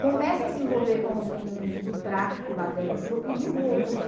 Começa a se envolver com os meninos do tráfico lá dentro e de roubos.